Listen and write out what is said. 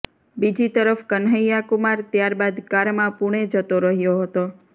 બીજી તરફ કન્હૈયાકુમાર ત્યાર બાદ કારમાં પુણે જતો રહ્યો હતો